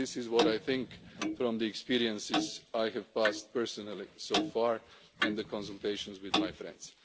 This is what I think from the experiences I have had personally so far and the consultations with my